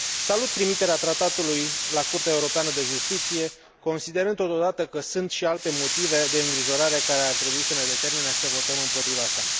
Salut trimiterea tratatului la Curtea Europeană de Justiție, considerând, totodată, că sunt și alte motive de îngrijorare, care ar trebui să ne determine să votăm împotriva sa.